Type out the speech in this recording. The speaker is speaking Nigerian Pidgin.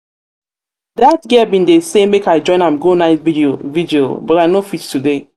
that girl bin dey say make i join am go night vigil but i no fit today